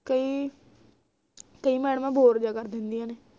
ਕਈ ਕਈ ਮੈਡਮਾਂ bore ਜਾ ਕਰ ਦਿੰਦੀਏ ਨੇ